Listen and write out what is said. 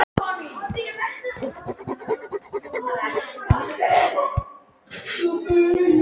Erla: Er þá einhver munur á flokkum?